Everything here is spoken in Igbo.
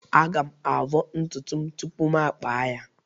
Aga-avọ ntutu m tupu m akpa ya.